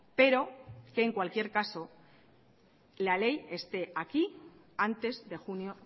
pero en cualquier caso la ley esté aquí antes de junio